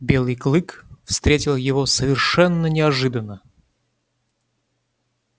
белый клык встретил его совершенно неожиданно